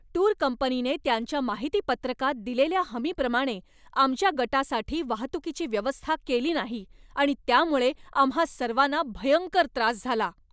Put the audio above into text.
Tour कंपनीने त्यांच्या माहितीपत्रकात दिलेल्या हमीप्रमाणे आमच्या गटासाठी वाहतुकीची व्यवस्था केली नाही आणि त्यामुळे आम्हां सर्वांना भयंकर त्रास झाला.